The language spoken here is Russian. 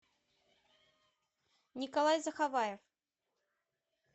николай заховаев